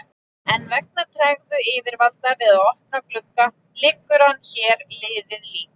En vegna tregðu yfirvalda við að opna glugga liggur hann hér liðið lík.